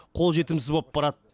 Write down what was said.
қол жетімсіз болып барады